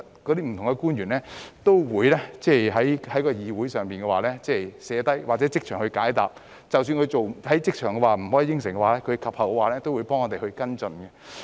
官員可能會在會議上記下問題或即場解答，而即使無法即場作出承諾，及後也會替我們跟進。